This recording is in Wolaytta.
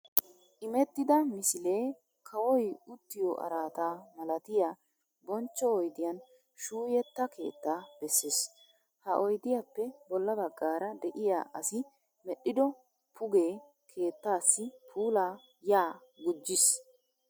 Imettida misilee kawoy uttiyo araata malatiya bonchcho oydiyan shuuyetta keettaa bessees. Ha oydiyappe bolla baggaara de'iya asi medhdhido pugee keettaassi puulaa ya gujjiis.